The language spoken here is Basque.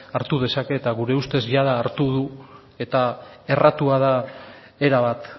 hartu dezake eta gure ustez jada hartu du eta erratua da erabat